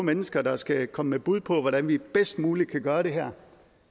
mennesker der skal komme med bud på hvordan vi bedst muligt kan gøre det her